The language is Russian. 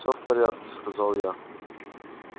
всё в порядке сказал я